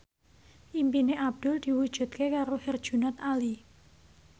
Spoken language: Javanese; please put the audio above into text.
impine Abdul diwujudke karo Herjunot Ali